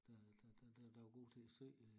Der der der der er god til at sy